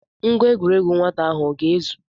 Ngwa egwuregwu nwata ahụ ọ ga-ezu?